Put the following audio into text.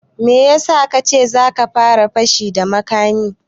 Me ya sa ka ce za ka fara fashi da makami